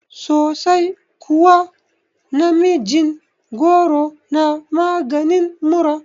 Sosai kuwa, namijin goro na maganin mura